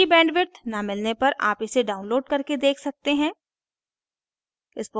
अच्छी bandwidth न मिलने पर आप इसे download करके देख सकते हैं